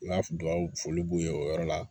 N ka dugawu foli b'u ye o yɔrɔ la